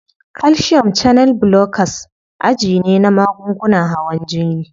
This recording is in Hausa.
Calcium channel blockers aji ne na magungunan hawan jini.